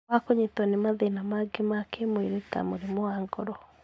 wa kũnyitwo nĩ mathĩna mangĩ ma kĩmwĩrĩ ta mũrimũ wa ngoro.